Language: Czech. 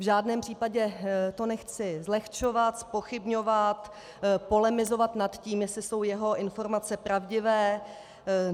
V žádném případě to nechci zlehčovat, zpochybňovat, polemizovat nad tím, jestli jsou jeho informace pravdivé.